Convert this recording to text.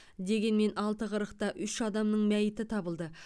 дегенмен алты қырықта үш адамның мәйіті табылды